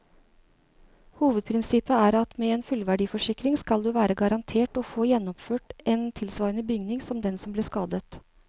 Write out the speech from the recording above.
Hovedprinsippet er at med en fullverdiforsikring skal du være garantert å få gjenoppført en tilsvarende bygning som den som ble skadet.